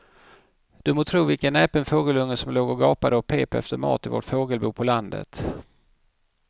Du må tro vilken näpen fågelunge som låg och gapade och pep efter mat i vårt fågelbo på landet.